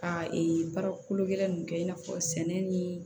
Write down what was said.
A ee baara kolo gɛlɛn ninnu kɛ i n'a fɔ sɛnɛ ni